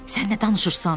Sən nə danışırsan?